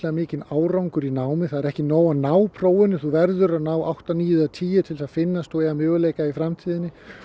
mikinn árangur í námi það er ekki nóg að ná prófinu þú verður að ná átta níu eða tíu til þess að finnast þú eiga möguleika í framtíðinni